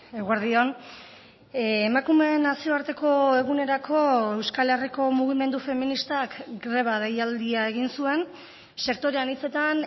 eguerdi on emakumeen nazioarteko egunerako euskal herriko mugimendu feministak greba deialdia egin zuen sektore anitzetan